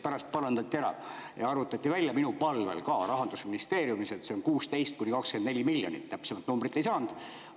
Pärast parandati ära ja arvutati välja, minu palvel, ka Rahandusministeeriumis, et see on 16–24 miljonit, täpsemat numbrit ei saanud.